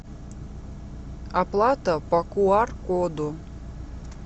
оплата по куар коду